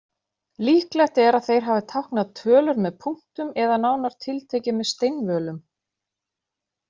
Líklegt er að þeir hafi táknað tölur með punktum eða nánar tiltekið með steinvölum.